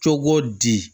Cogo di